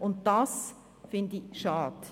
Und das finde ich schade.